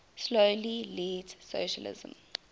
slowly leads socialism